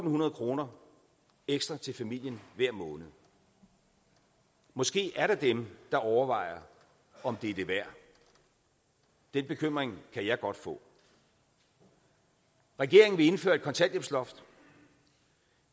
hundrede kroner ekstra til familien hver måned måske er der dem der overvejer om det er det værd den bekymring kan jeg godt få regeringen vil indføre et kontanthjælpsloft